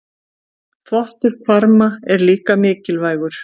Þvottur hvarma er líka mikilvægur.